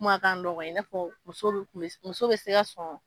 kuma ka nɔgɔ i n'a fɔ muso be kun be muso be se ka sɔn